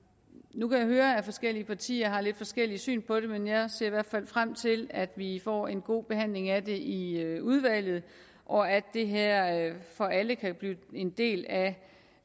nu kan jeg høre at forskellige partier har lidt forskelligt syn på det men jeg ser i hvert fald frem til at vi får en god behandling af det i udvalget og at det her for alle kan blive en del af